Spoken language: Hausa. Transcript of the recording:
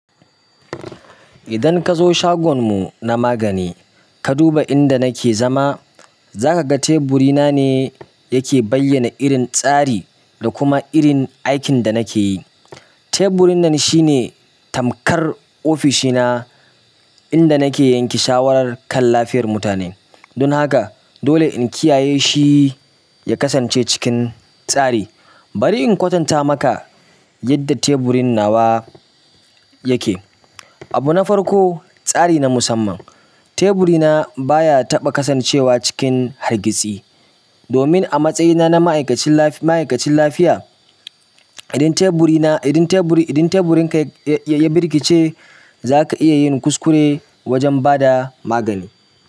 Idan ka zo shagon mu na magani, ka duba inda nake zama, za ka ga teburi na ne yake bayyana irin tsari da kuma irin aikin da nake yi. Teburi nan shine tamkar ofishi na inda nake yanke shawarar kan lafiyar mutane. Don haka dole in kiyaye shi ya kasance cikin tsari. Bari in kwatanta maka yadda tuburin nawa yake. Abu na farko, tsari na musamman. Teburi na baya taɓa kasancewa cikin hargitsi. Domin a matsayina na ma'aikacin lafi-ma'aikacin lafiya, idan teburi na, idan teburi, idan teburin ka ya, ya birkice, za ka iya yin kuskure wajen ba da magani.